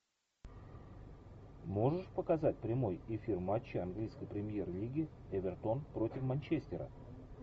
можешь показать прямой эфир матча английской премьер лиги эвертон против манчестера